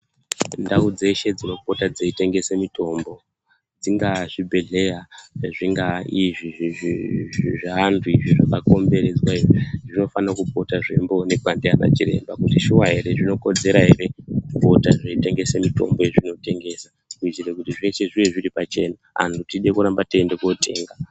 Ndau dzeshe dzinopota dzeitengese mitombo, dzingaa zvibhedhleya zvingaa izvi zvevantu izvi, zvakakomberedzwa izvi, zvinofanira kupota zveimboonekwa nanachiremba kuti shuwa here, zvinokodzera here kuita zvekutengesa mitombo yezvinotengesa kuitire kuti zveshe zvive zviri pachena anhu tide kuramba teindotenga.